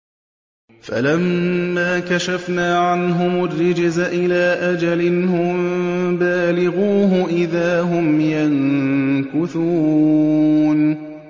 فَلَمَّا كَشَفْنَا عَنْهُمُ الرِّجْزَ إِلَىٰ أَجَلٍ هُم بَالِغُوهُ إِذَا هُمْ يَنكُثُونَ